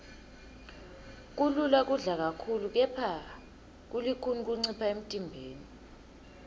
kulula kudla kakhulu kepha kulukhuni kuncipha emntimbeni